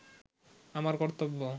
আমার কর্তব্য